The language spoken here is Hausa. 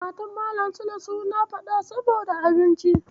Matan Malam Sule suna faɗa saboda abinci.